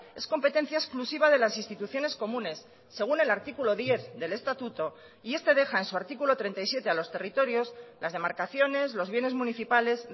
es competencia exclusiva de las instituciones comunes según el artículo diez del estatuto y este deja en su artículo treinta y siete a los territorios las demarcaciones los bienes municipales